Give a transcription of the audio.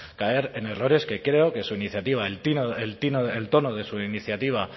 caer en errores que creo que su iniciativa el tono de su iniciativa